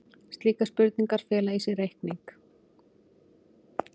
Slíkar spurningar fela í sér reikning.